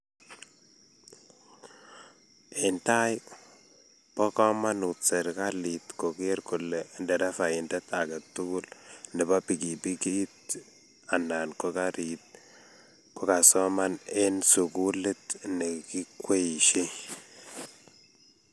eng tai, bo kamanuut serikalit kogeer kole nderefaindet age tugul nebo pikipikit anan ko karit kogagosoman eng sugulit negikweeishei